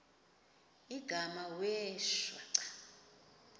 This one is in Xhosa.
igama wee shwaca